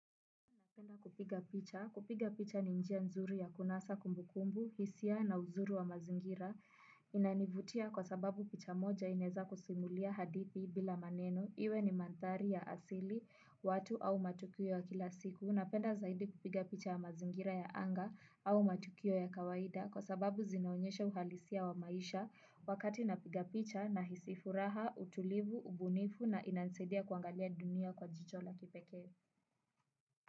Napenda kupiga picha. Kupiga picha ni njia nzuru ya kunasa kumbukumbu, hisia na uzuri wa mazingira. Inanivutia kwa sababu picha moja ineza kusimulia hadithi bila maneno. Iwe ni manthari ya asili watu au matukio ya kila siku. Napenda zaidi kupiga picha ya mazingira ya anga au matukio ya kawaida. Kwa sababu zinaonyesha uhalisia wa maisha wakati napiga picha nahisi furaha, utulivu, ubunifu na inansaidia kuangalia dunia kwa jicho la kipekee.